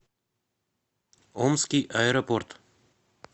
омский аэропорт